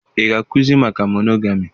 Ị ga-akụzi maka monogami?